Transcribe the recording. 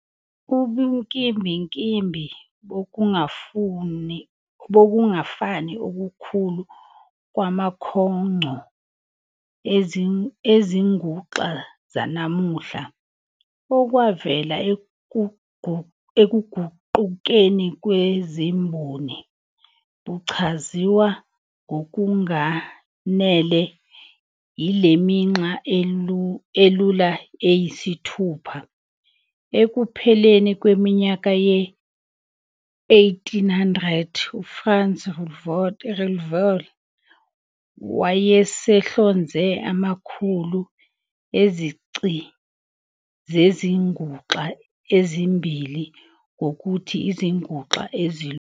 Ubunkimbinkimbi bokungafani okukhulu kwamakhongco ezinguxa zanamuhla, okwavela ekuGuqukeni kwezimboni, buchaziswa ngokunganele yileminxa elula eyisithupha. Ekupheleni kweminyaka ye-1800, uFranz Reuleaux wayesehlonze amakhulu ezici zezinguxa, ezibiza ngokuthi izinguxa ezilula.